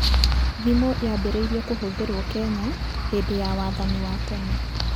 Thimu yaambĩrĩirie kũhũthĩrũo Kenya hĩndĩ ya wathani wa tene.